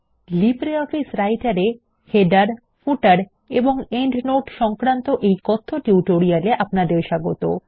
LibreOffice Writer এর - Headersশিরোলেখ Fotersপাদলেখ এবং Notesপ্রান্তটীকা সংক্রান্ত এই কথ্য টিউটোরিয়াল এ আপনাদের স্বাগত